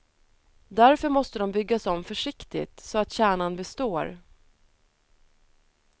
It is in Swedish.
Därför måste de byggas om försiktigt, så att kärnan består.